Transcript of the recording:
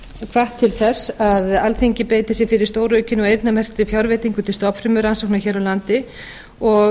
hvatt til þess að alþingi beiti sér fyrir stóraukinni og eyrnamerktri fjárveitingu til stofnfrumurannsókna hér á landi og